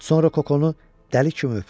Sonra Kokonu dəli kimi öpür.